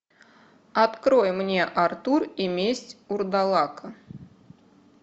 открой мне артур и месть урдалака